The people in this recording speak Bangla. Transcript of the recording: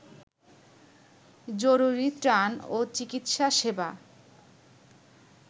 জরুরী ত্রাণ ও চিকিৎসা সেবা